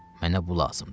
Mənə bu lazımdır.